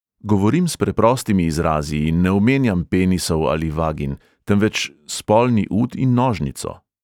Govorim s preprostimi izrazi in ne omenjam penisov ali vagin, temveč spolni ud in nožnico.